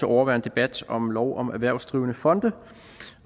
overvære en debat om lov om erhvervsdrivende fonde